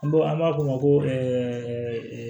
An b'o an b'a fɔ o ma ko